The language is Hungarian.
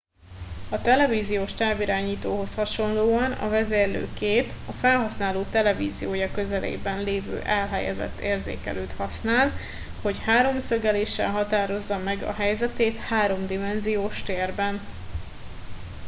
a televíziós távirányítóhoz hasonlóan a vezérlő két a felhasználó televíziója közelében elhelyezett érzékelőt használ hogy háromszögeléssel határozza meg a helyzetét háromdimenziós térben